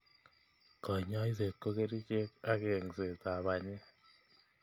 Kanyoiset ko kerchek ak engset ab banyek.